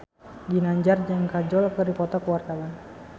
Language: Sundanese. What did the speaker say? Ginanjar jeung Kajol keur dipoto ku wartawan